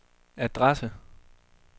adresse